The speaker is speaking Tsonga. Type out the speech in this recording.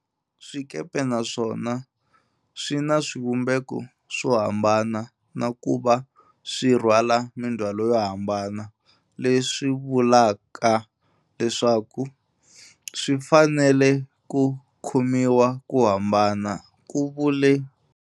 Swikepe naswona swi na swivumbeko swo hambana na ku va swi rhwala mindzhwalo yo hambana, leswi vulaka leswaku swi fanele ku khomiwa ku hambana, ku vule.